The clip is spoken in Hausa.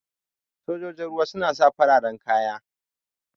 Sojoji ruwa suna saka fararan kaya.